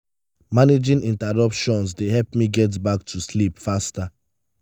managing interruptions dey help me get back to sleep faster.